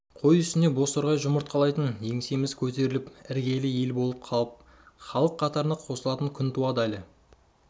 қой үстіне бозторғай жұмыртқалайтын еңсеміз көтеріліп іргелі ел болып халық қатарына қосылатын күн туад